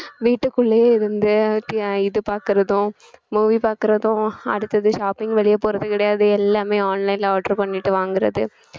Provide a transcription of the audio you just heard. வீட்டுக்குள்ளேயே இருந்து இது பாக்கறதும் movie பாக்கறதும் அடுத்தது shopping வெளியே போறது கிடையாது எல்லாமே online ல order பண்ணிட்டு வாங்கறது